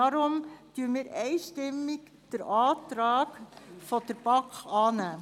Deshalb nehmen wir den Antrag der BaK einstimmig an.